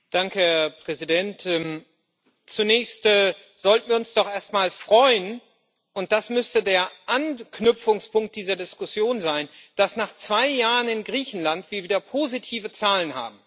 Herr Präsident! Zunächst sollten wir uns doch erstmal freuen und das müsse der Anknüpfungspunkt dieser Diskussion sein dass wir nach zwei Jahren in Griechenland wieder positive Zahlen haben.